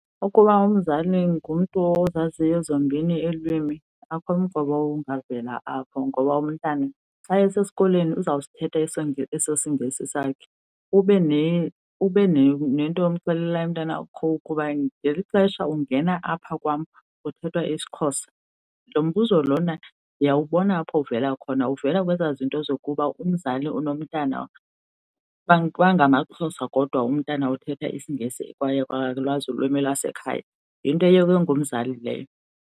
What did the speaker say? Ukuba umzali ngumntu ozaziyo zombini iilwimi akho mqobo ungavela apho, ngoba umntana xa esesikolweni uzawusithetha eso siNgesi sakhe, ube nento yomxelela umntanakho ukuba ngeli xesha ungena apha kwam kuthethwa isiXhosa. Lo mbuzo lona ndiyawubona apho uvela khona, uvela kwezaa zinto zokuba umzali unomntana, bangamaXhosa kodwa umntana uthetha isiNgesi kwaye akalwazi ulwimi lwasekhaya. Yinto eyekwe ngumzali leyo.